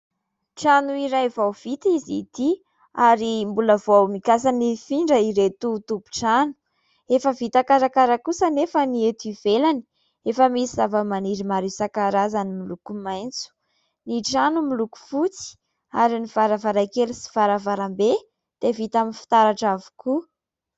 Trano iray vao vita izy ity ary mbola vao mikasa ny hifindra ireto tompon-trano. Efa vita karakara kosa anefa ny eto ivelany, efa misy zava-maniry maro isan-karazany miloko maitso ; ny trano miloko fotsy ary ny varavarankely sy varavarambe dia vita amin'ny fitaratra avokoa.